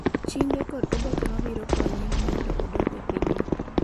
Chinge kod oboke mabiro konye mondo odok e pinyno.